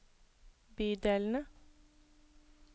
bydelene